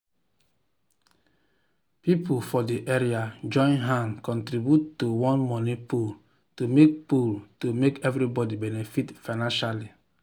people for the area join hand contribute to one money pool to make pool to make everybody benefit financially.